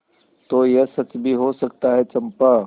तो यह सच भी हो सकता है चंपा